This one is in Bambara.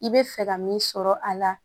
I bɛ fɛ ka min sɔrɔ a la